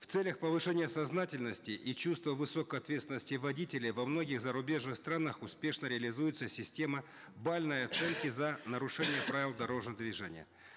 в целях повышения сознательности и чувства высокой ответственности водителя во многих зарубежных странах успешно реализуется система балльной оценки за нарушение правил дорожного движения